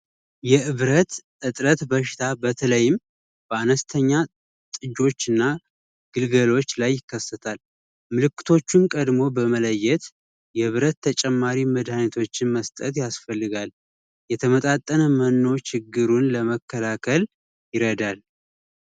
የብረት ትጥረት በሽታ በተለይም በአነስተኛ ጥጆች እና ግልገሎች ላይ ይከሰታል። ምልክቶችን ቀድሞ በመለየት የብረት መድሀኒቶች መስጠት ያስፈልጋል። የተመጣጠነ መኖ ችግሩን ለመከላከል ይረዳናል።